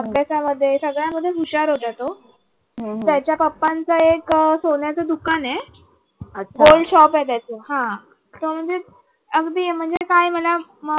अभ्यासामध्ये सगळ्यांमध्ये तो हुशार होता तो त्याच्या papa चं एक अह सोन्याचं दुकान आहे gold shop आहे त्याचं हा तो म्हणजे अगदी काही म्हणा